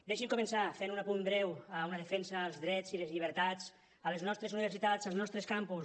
deixin me començar fent un apunt breu una defensa als drets i les llibertats a les nostres universitats als nostres campus